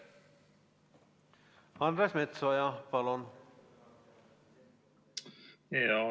Andres Metsoja, palun!